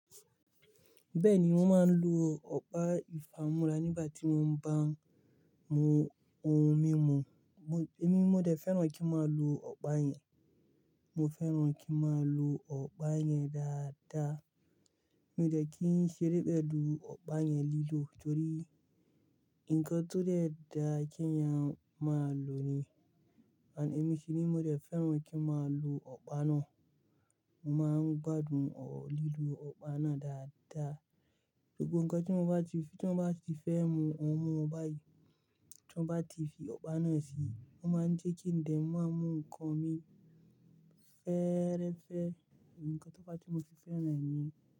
Bẹ́ẹ̀ni, wọ́n máa ń lo ọ̀pá ìfámúrá nígbà tí wọ́n ń bá mu ohún mímu. Ẹ̀mi mo dẹ̀ fẹ́ràn kí n máa lo ọ̀pá yẹn. Mo fẹ́ràn kí n máa lo ọ̀pá yẹn dáadáa. Mó dè kí n ṣe rí bẹ́ẹ̀ lo ọ̀pá yẹn lílò torí nǹkan tó dẹ́ da kí ń yan máa lò ni. Àní èmi sì ni mo dẹ̀ fẹ́ràn kí n máa lo ọ̀pá náà. Mo máa ń gbádùn ò lílò ọ̀pá náà dáadáa. Gbógbó nǹkan tí wọ́n bá ti fi, tí wọ́n bá ti fẹ́ mu ohun mímu báyìí, tí wọ́n bá ti fi ọ̀pá náà si, mo máa ń jẹ́ kí n dẹ̀ máa mú nǹkan mi fẹ́rẹ́ fẹ́ nǹkan tó bá ti mú fífẹ́ náà mu.